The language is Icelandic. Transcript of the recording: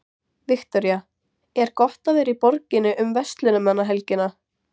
Viktoría: Er gott að vera í borginni um verslunarmannahelgina?